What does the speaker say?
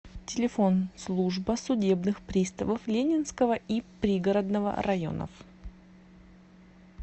телефон служба судебных приставов ленинского и пригородного районов